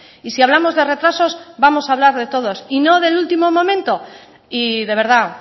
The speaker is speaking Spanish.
y si hablamos de retrasos vamos a hablar de todos y no del último momento y de verdad